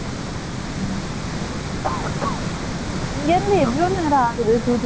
மாறி, மாறி போகனும், bus , train ன்னா. சரிங்க. Bus ன்னா, அந்த மாதிரி இல்லை, இல்லை. ம்